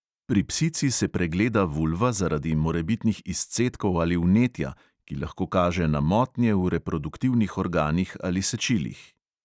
Pri psici se pregleda vulva zaradi morebitnih izcedkov ali vnetja, ki lahko kaže na motnje v reproduktivnih organih ali sečilih.